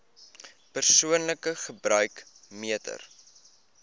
persoonlike gebruik meter